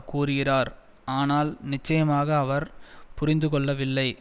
கூறுகிறார் ஆனால் நிச்சயமாக அவர் புரிந்துகொள்ளவில்லை